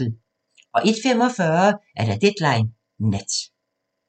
01:45: Deadline Nat